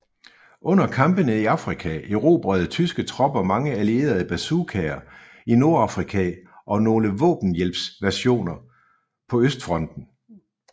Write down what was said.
Under kampene i Afrika erobrede tyske tropper mange allierede bazookaer i Nordafrika og nogle våbenhjælpsversioner på Østfronten